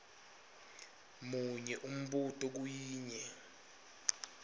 munye umbuto kuyinye